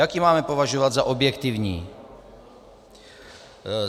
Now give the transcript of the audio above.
Jak ji máme považovat za objektivní?